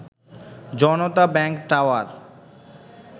Janata bank tower